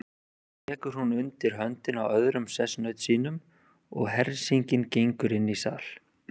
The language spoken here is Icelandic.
Svo tekur hún undir höndina á öðrum sessunaut sínum og hersingin gengur inn í sal.